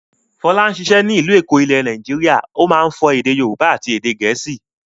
Fọlá ń ṣiṣẹ́ ní ìlú Èkó ilẹ̀ Nàìjíríà, ó máa ń sọ èdè Yorùbá àti èdè Gẹ̀ẹ́sì.